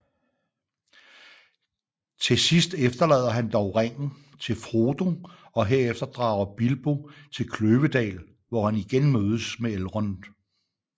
Til sidst efterlader han dog ringen til Frodo og herefter drager Bilbo til Kløvedal hvor han igen mødes med Elrond